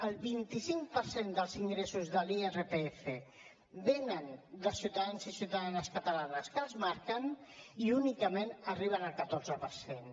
el vint cinc per cent dels ingressos de l’irpf venen de ciutadans i ciutadanes catalans que els marquen i únicament arriben el catorze per cent